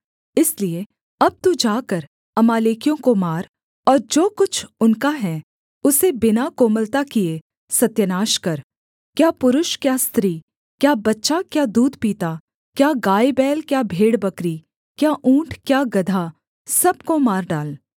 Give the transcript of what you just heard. इसलिए अब तू जाकर अमालेकियों को मार और जो कुछ उनका है उसे बिना कोमलता किए सत्यानाश कर क्या पुरुष क्या स्त्री क्या बच्चा क्या दूध पीता क्या गायबैल क्या भेड़बकरी क्या ऊँट क्या गदहा सब को मार डाल